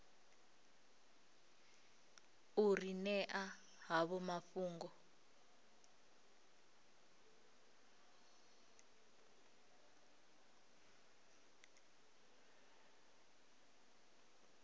u ri ṅea havho mafhungo